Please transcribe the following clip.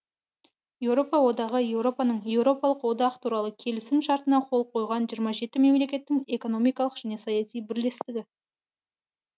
еуропа одағы еуропаның еуропалық одақ туралы келісім шартына қол қойған жиырма жеті мемлекеттің экономикалық және саяси бірлестігі